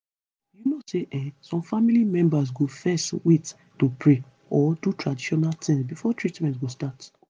you know say[um]some family members go fezz wait to pray or do traditional tins before treatment go start